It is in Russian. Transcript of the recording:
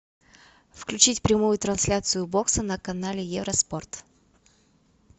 включить прямую трансляцию бокса на канале евроспорт